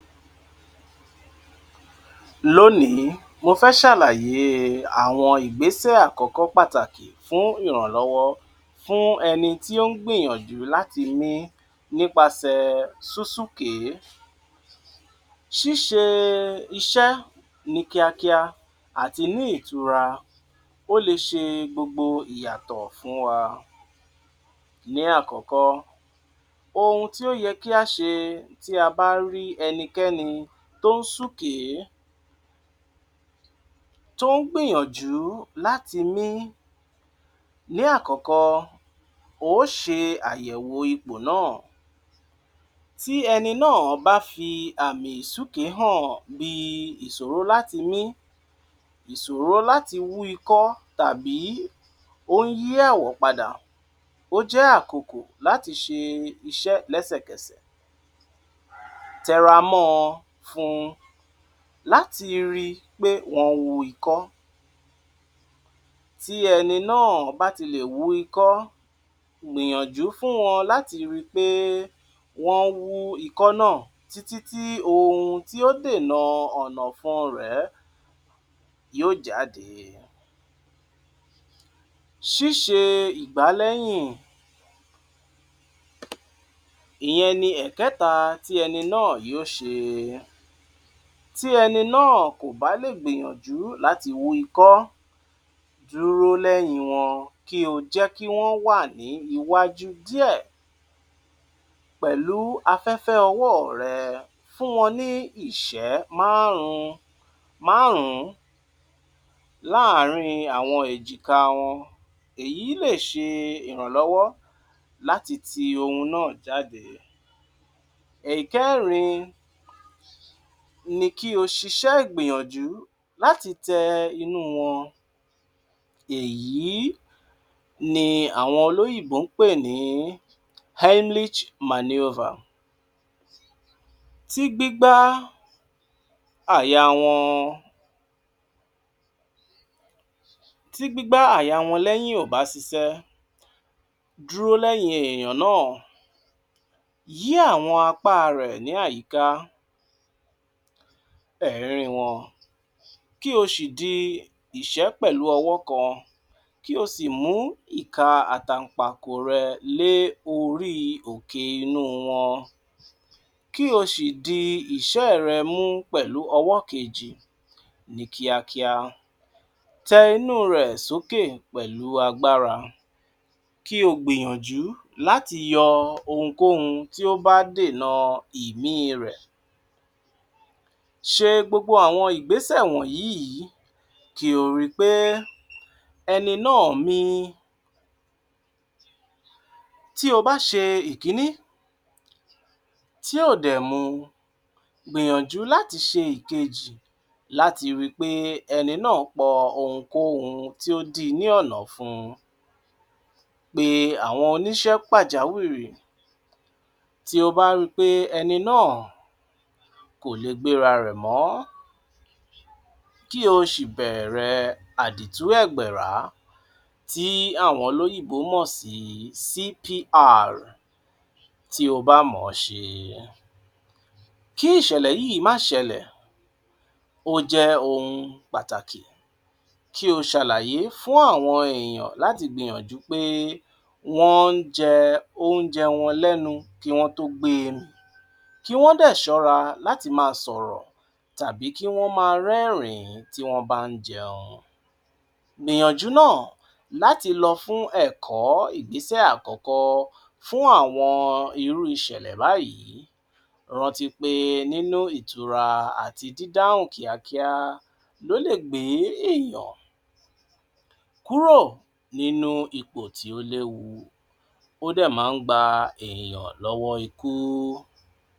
Lónìí, mo fẹ́ ṣàlàyé àwọn ìgbésẹ̀ àkọ́kọ́ pátákì fún ìrànlọwọ fún ẹni tí ó ń gbìyànjú láti mín nípasẹ̀ súnsúnke. Sísẹ́ iṣẹ́ ní kíákíá àti ní ìtùrà ó lè ṣe gbogbo ìyàtọ́ fún wa. Ní àkọ́kọ́, ohun tí ó yẹ kí a ṣe tí a bá rí ẹnìkẹ́ni tó ń súnke, tó ń gbìyànjú láti mín. Ní àkọ́kọ́, ó yẹ kí o ṣe àyẹ̀wò ipò náà, tí ẹni náà bá fi àmì súnke hàn bí ìṣòro láti mín, ìṣòro láti wú ikọ tàbí ó ń yí àwọ̀ padà, ó jẹ́ àkókò láti ṣe iṣẹ́ lẹ́sẹ̀kẹsẹ̀. Téra mọ́ fún un láti ríi pé wọ́n wú ikọ. Tí ẹni náà bá ti lè wú ikọ, gbìyànjú fún wọn láti ríi pé wọ́n wú ikọ náà títí tí ohun tí ó dènà ọ̀nà fún un rẹ̀ yóò jáde. Sísẹ́ ìgbálẹ́yìn. Ìyẹn ni ẹ̀kẹta tí ẹni náà yóò ṣe. Tí ẹni náà kò bá lè gbìyànjú láti wú ikọ, dúró lẹ́yìn wọn kì í jẹ́ kí wọ́n wà ní iwájú díẹ̀ pẹ̀lú afẹ́fẹ́, ọwọ́ rẹ fún wọn ní ìṣẹ́ márùn-márùn láàárín àwọn èjìká wọn. Èyí lè ṣe ìrànlọwọ́ láti ti ohun náà jáde. Ẹ̀kẹ́rin ni kí o ṣiṣẹ́ gbìyànjú láti tẹ inú wọn. Èyí ni àwọn olóyìnbó ń pè ní Heimlich manoeuvre. Tí gbigba àyà wọn — tí gbigba àyà wọn lẹ́yìn ò bá ṣiṣẹ́, dúró lẹ́yìn èèyàn náà, yé àwọn apá rẹ ní àìkà ẹ̀rín wọn, kí o ṣi di ìṣẹ́ pẹ̀lú ọwọ́ kan, kí o sì mú iká àti àtàngìpákò rẹ lé orí òkè inú wọn, kí o sì di ìṣẹ́ rẹ mú pẹ̀lú ọwọ́ kejì ní kíákíá. Tẹ inú rẹ̀ sókè pẹ̀lú agbára, kí o gbìyànjú láti yọ ohunkóhun tí ó bá dènà ìmí rẹ̀. Ṣe gbogbo àwọn ìgbésẹ̀ wọ̀nyí kí o ríi pé ẹni náà mín. Tí o bá ṣe ìkíní, tí ó ò dẹ̀ mú, gbìyànjú láti ṣe ìkejì láti ríi pé ẹni náà po ohunkóhun tí ó dì ní ọ̀nà fún un. Pé àwọn onísẹ̀ pàjáwìrì tí o bá rí pé ẹni náà kò lè gbéra rẹ mọ́, kí o sì bẹ̀rẹ̀ àdítùẹ̀gbérà tí àwọn olóyìnbó mọ̀ sí CPR. Tí o bá mọ̀ ṣe, kí ìṣẹ̀lẹ̀ yìí má ṣẹlẹ̀, ó jẹ́ ohun pátákì. Kí o ṣàlàyé fún àwọn èèyàn láti gbìyànjú pé wọ́n ń jẹ́ ohun jẹ́ wọ́n lẹ́nu kí wọ́n tó gbé mí. Kí wọ́n dẹ̀ ṣọ́ra láti máa sọ̀rọ̀ tàbí kí wọ́n máa rẹ́rìn tí wọ́n bá ń jẹun. Gbìyànjú náà láti lọ fún ẹ̀kọ́ ìgbésẹ̀ àkọ́kọ́ fún àwọn irú ìṣẹ̀lẹ̀ báyìí, rántí pé nínú ìtùrà àti dídáhùn kíákíá ló lè gbé èèyàn kúrò nínú ipò tí ó lèwu, ó dẹ̀ máa ń gba èèyàn lọwọ́ ikú.